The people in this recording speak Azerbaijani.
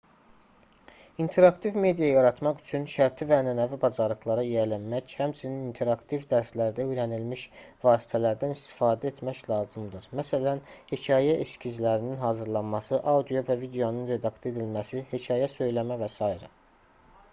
i̇nteraktiv media yaratmaq üçün şərti və ənənəvi bacarıqlara yiyələnmək həmçinin interaktiv dərslərdə öyrənilmiş vasitələrdən istifadə etmək lazımdır məsələn hekayə eskizlərinin hazırlanması audio və videonun redaktə edilməsi hekayə söyləmə və s.